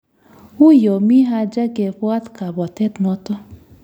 Uyo mi haja kebwat kabwatet noto